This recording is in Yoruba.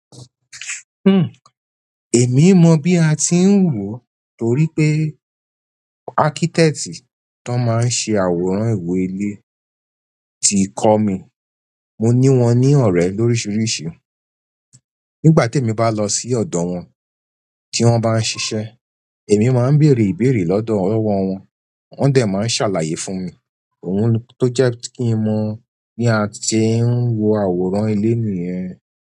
Hmm, èmi mọ̀ bí a tí ń wọ, torí pé akítẹ̀tì tó máa ń ṣe àwòrán ìwé ilé ti kọ́ mi. Mo ní wọn ní ọ̀rẹ́ lóríṣiríṣi, nígbà tí èmi bá lọ sí ọ̀dọ̀ wọn tí wọ́n bá ń ṣiṣẹ́, èmi máa ń bèèrè ìbéèrè lọ́dọ̀ ọwọ́ wọn, wọn dẹ̀ máa ń ṣàlàyé fún mi ohun ló jẹ́ kí n mọ̀ bí a ṣe ń wo àwòrán ilé nìyẹn.